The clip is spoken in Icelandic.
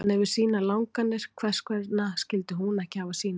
Hann hefur sínar langanir, hvers vegna skyldi hún ekki hafa sínar?